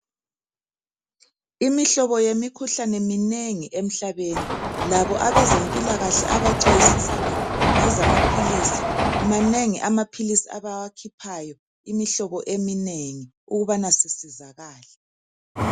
Imihlobo yemikhuhlane minengi emhlabeni. Labo abezempilakahle abacwayisisa ngezamaphilisi Manengi amaphilisi abawakhiphayo imihlobo eminengi ukubana sisizakale.